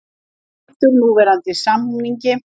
Hlynntur núverandi samningi